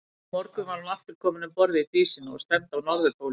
Undir morgun var hann aftur kominn um borð í Dísina og stefndi á Norðurpólinn.